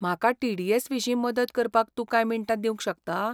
म्हाका T D S विशीं मदत करपाक तूं कांय मिनटां दिवंक शकता ?